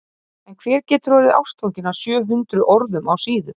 En hver getur orðið ástfanginn af sjö hundruð orðum á síðu?